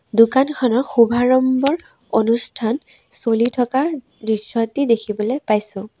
দোকানখনৰ শুভাৰম্ভৰ অনুষ্ঠান চলি থকাৰ দৃশ্য এটি দেখিবলৈ পাইছোঁ।